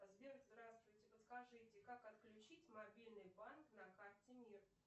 сбер здравствуйте подскажите как отключить мобильный банк на карте мир